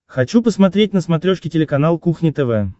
хочу посмотреть на смотрешке телеканал кухня тв